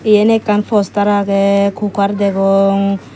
eyen ekkan postar aagay kukar dagong.